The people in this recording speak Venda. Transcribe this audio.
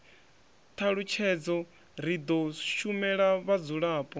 thalutshedzo ri do shumela vhadzulapo